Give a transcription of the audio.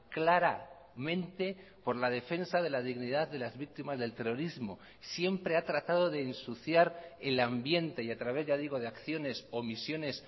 claramente por la defensa de la dignidad de las víctimas del terrorismo siempre ha tratado de ensuciar el ambiente y a través ya digo de acciones omisiones